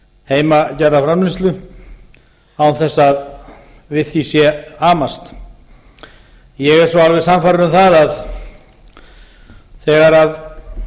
heimagerða framleiðslu án þess að við því sé amast ég er alveg sannfærður um að